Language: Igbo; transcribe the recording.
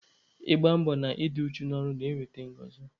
Ịgba mbọ na i dị uchu n'ọrụ na-eweta ngọzị.